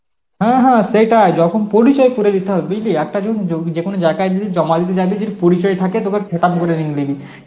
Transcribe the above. হ্যাঁ হ্যাঁ সেটাই, যখন পরিচয় করে দিতে হয় বুঝলি একটা জোন~ যোগ~ যেকোনো জায়গায় যদি জমা দিতে যায় তো যদি পরিচয় থাকে তবে